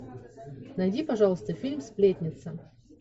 найди пожалуйста фильм сплетница